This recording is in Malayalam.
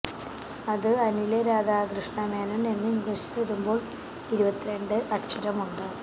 അത് അനില് രാധാകൃഷ്ണ മേനോൻ എന്ന് ഇംഗ്ലീഷിൽ എഴുതുമ്പോൾ ഇരുപത്തിരണ്ട് അക്ഷരമുണ്ട്